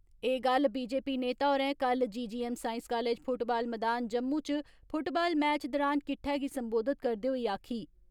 एह् गल बीजेपी नेता होरें कल जीजीएम साइंस कालेज फुटबाल मैदान जम्मू इच फुटबाल मैच दौरान किट्ठे गी संबोधित करदे होई आक्खी।